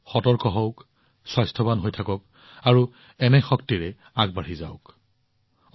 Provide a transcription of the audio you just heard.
আপোনালোক সকলোৱে সতৰ্ক হোৱা উচিত স্বাস্থ্যৱান হৈ থাকক আৰু এনে শক্তিৰে আগবাঢ়ি যাওক